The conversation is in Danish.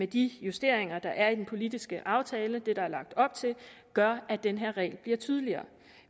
de justeringer der er i den politiske aftale og det der er lagt op til gør at den her regel bliver tydeligere